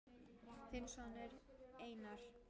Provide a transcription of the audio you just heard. Þinn sonur Einar.